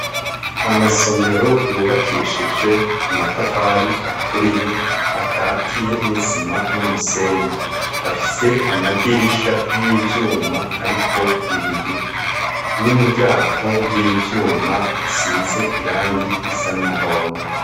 Amasomero yubakishije amatafari aturiye akatiye n'isima n'umusenyi. Afise amadirisha y'ivyuma ariko ibiyo n'imiryango y'ivyuma isize irangi risa n'umuhondo.